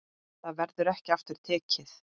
Það verður ekki aftur tekið.